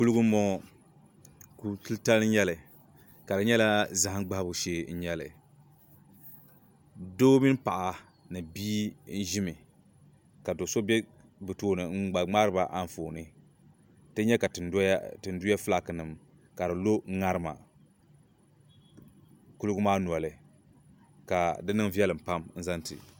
Kuliga m bɔŋɔ kuli titali n nyɛli ka di nyɛla zahim gbahibo shee n nyɛli doo mini paɣa ni bia n ʒimi ka do so be bɛ tooni n gba ŋmaari ba anfooni tI nya ka tinduya filaakinima ka di lo ŋarima kuliga maa noli ka di niŋ viɛlim pam zaŋ ti